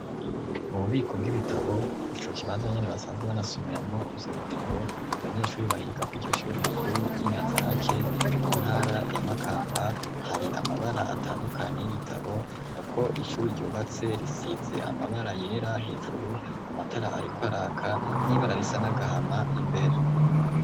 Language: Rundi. Mu bubiko bw'ibitabo ico kibanza nyene basazwe banasumiramwo ivyo bitabo abanyeshuri bahiga ko iryo shuri rikuru ry'inyanza rake mu ntara yamakamba hari amabara atandukanye y'ibitabo yako icuri ryubatse risize amabara yerera hejuru amatara, ariko araka n'ibararisa nagahama imbere.